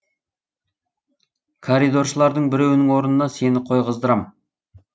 коридоршылардың біреуінің орнына сені қойғыздырам